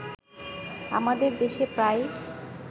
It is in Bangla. আমাদের দেশে প্রায়